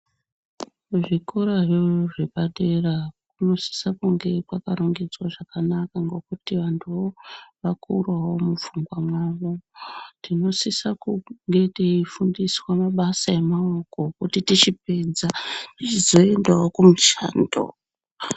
Kuzvikorayo zvepadera kunosisa kunge kwakarongedza zvakanaka ngokuti vantuvo vakurawo mufungwa mwavo. Tinosisa kunge teifundiswa mabasa emaoko kuti tichipedza tichizoendawo kumishando.